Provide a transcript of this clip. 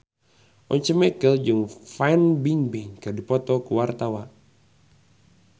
Once Mekel jeung Fan Bingbing keur dipoto ku wartawan